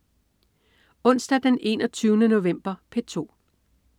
Onsdag den 21. november - P2: